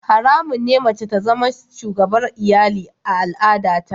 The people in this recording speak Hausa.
Haramun ne mace ta zama shugabar iyali a al'adata.